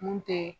Mun tɛ